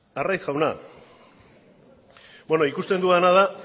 arraiz jauna bueno ikusten dudana da